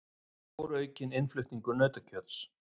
Stóraukinn innflutningur nautakjöts